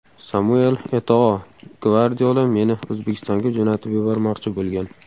Samuel Eto‘O: Gvardiola meni O‘zbekistonga jo‘natib yubormoqchi bo‘lgan.